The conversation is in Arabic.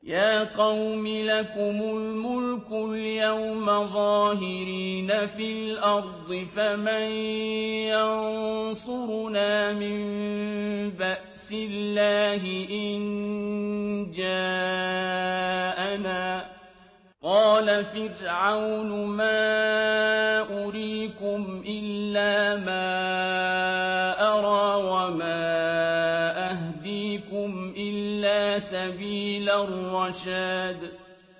يَا قَوْمِ لَكُمُ الْمُلْكُ الْيَوْمَ ظَاهِرِينَ فِي الْأَرْضِ فَمَن يَنصُرُنَا مِن بَأْسِ اللَّهِ إِن جَاءَنَا ۚ قَالَ فِرْعَوْنُ مَا أُرِيكُمْ إِلَّا مَا أَرَىٰ وَمَا أَهْدِيكُمْ إِلَّا سَبِيلَ الرَّشَادِ